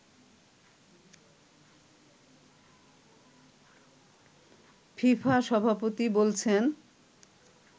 FIFA সভাপতি বলছেন